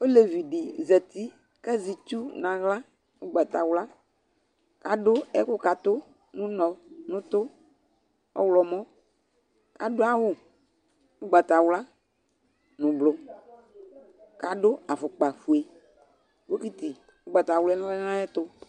Olevi dɩ zati kʋ azɛ itsu nʋ aɣla ʋgbatawla kʋ adʋ ɛkʋkatʋ nʋ ʋnɔ nʋ ʋtʋ ɔɣlɔmɔ kʋ akʋ awʋ ʋgbatawla nʋ ʋblʋ kʋ adʋ afʋkpafue Bokiti ʋgbatawla lɛ nʋ ayɛtʋ